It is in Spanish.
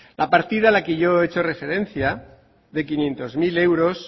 la partida a la que yo he hecho referencia de quinientos mil euros